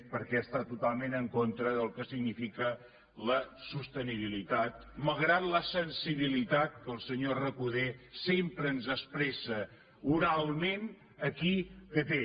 perquè està totalment en contra del que significa la sostenibilitat malgrat la sensibilitat que el senyor recoder sempre ens expressa oralment aquí que té